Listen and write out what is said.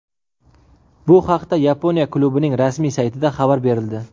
Bu haqda Yaponiya klubining rasmiy saytida xabar berildi .